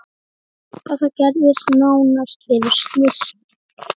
Þetta gerðist nánast fyrir slysni.